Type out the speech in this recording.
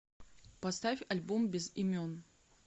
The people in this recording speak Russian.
поставь альбом без имен